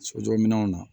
Sojɔminɛnw na